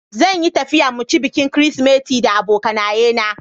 Zan yi tafiya mu ci bikin kirisimeti da abokanaye na.